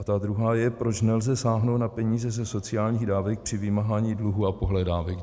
A ta druhá je, proč nelze sáhnout na peníze ze sociálních dávek při vymáhání dluhů a pohledávek.